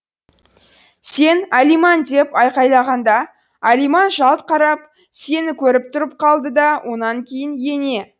сен алиман деп айқайлағанда алиман жалт қарап сені көріп тұрып қалды да онан кейін ене